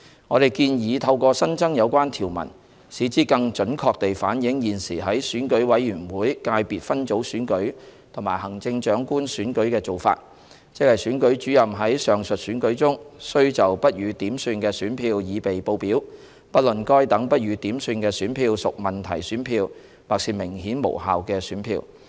我們建議透過新增有關條文，使之更準確地反映現時在選舉委員會界別分組選舉和行政長官選舉的做法，即選舉主任在上述選舉中須就不予點算的選票擬備報表，不論該等不予點算的選票屬問題選票或是明顯無效的選票。